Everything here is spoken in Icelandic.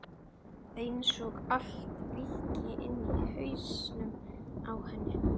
Einsog allt víkki inni í hausnum á henni.